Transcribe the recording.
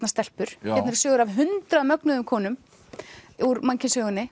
stelpur hérna eru sögur af hundrað mögnuðum konum úr mannkynssögunni